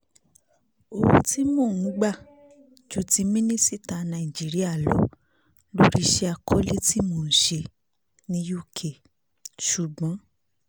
owó tí mò ń gbà ju ti mínísítà nàìjíríà lọ lórí iṣẹ́ àkọlé tí mò ń ṣe ní uk ṣùgbọ́n